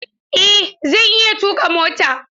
Eh zan iya tuka mota.